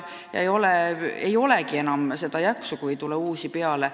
Ei ole enam jaksu ja on väga hull, kui ei tule uusi inimesi peale.